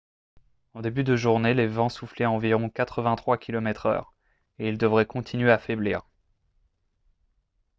en début de journée les vents soufflaient à environ 83 km/h et ils devraient continuer à faiblir